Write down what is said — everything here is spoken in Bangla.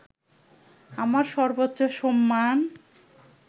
আমার সর্বোচ্চ সম্মান